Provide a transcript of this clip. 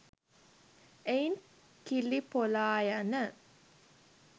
එයින් කිලි පොලායන